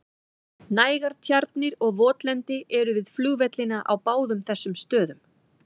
Nægar tjarnir og votlendi eru við flugvellina á báðum þessum stöðum.